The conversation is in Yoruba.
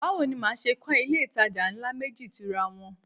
Báwo ni màá ṣe kọ́ ilé-ìtajà ńlá méjì tira wọn?